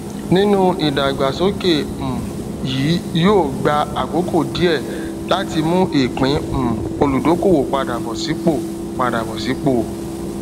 nínú ìdàgbàsókè um yìí yóò gba àkókò díẹ láti mú ìpín um olùdókòwò padà bọ sípò padà bọ sípò um